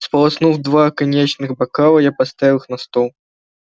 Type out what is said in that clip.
сполоснув два коньячных бокала я поставил их на стол